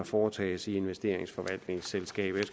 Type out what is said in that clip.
foretages i investeringsforvaltningsselskabet